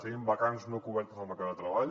tenim vacants no cobertes al mercat de treball